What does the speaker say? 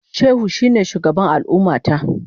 Shehu shine shugaban al'ummata.